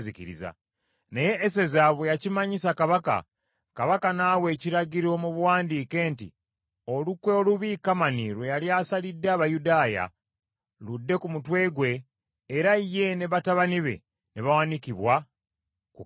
Naye Eseza bwe yakimanyisa Kabaka, Kabaka n’awa ekiragiro mu buwandiike nti olukwe olubi Kamani lwe yali asalidde Abayudaaya ludde ku mutwe gwe, era ye ne batabani be ne bawanikibwa ku kalabba.